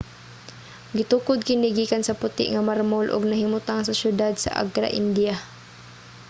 gitukod kini gikan sa puti nga marmol ug nahimutang sa syudad sa agra india